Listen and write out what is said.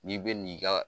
N'i bɛ n'i ka